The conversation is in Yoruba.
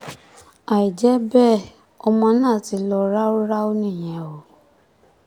àìjẹ́ bẹ́ẹ̀ ọmọ náà ti lọ ráúráú nìyẹn o